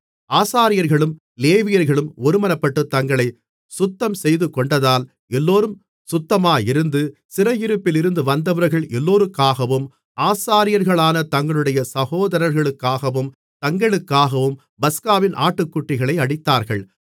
ஆசாரியர்களும் லேவியர்களும் ஒருமனப்பட்டுத் தங்களை சுத்தம் செய்துகொண்டதால் எல்லோரும் சுத்தமாயிருந்து சிறையிருப்பிலிருந்து வந்தவர்கள் எல்லோருக்காகவும் ஆசாரியர்களான தங்களுடைய சகோதரர்களுக்காகவும் தங்களுக்காகவும் பஸ்காவின் ஆட்டுக்குட்டிகளை அடித்தார்கள்